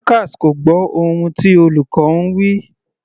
Dorcas kò gbọ́ ohun tí olùkọ́ ń wí.